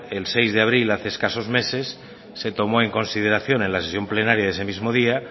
el seis de abril hace escasos meses se tomó en consideración en la sesión plenaria de ese mismo día